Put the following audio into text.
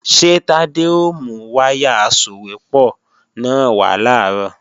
Ṣé Tádé ó mú wáyà asòwépọ̀ náà wá làárọ̀?